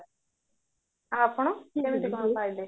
ଆଉ ଆପଣ କେମିତି କଣ ପାଳିଲେ